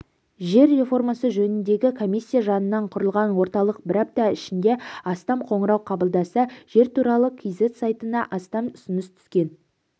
жер реформасы жөніндегі комиссия жанынан құрылған орталық бір апта ішінде астам қоңырау қабылдаса жер туралы кз сайтына астам ұсыныс түскен